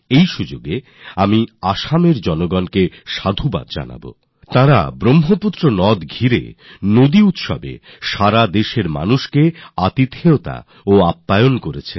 এখানে আমি আসামবাসীদের উদ্দীপনা তাদের আতিথেয়তার প্রশংসা করতে চাই যাঁরা গোটা দেশ থেকে আগত তীর্থযাত্রীদের সাদর আপ্যায়ন করেছেন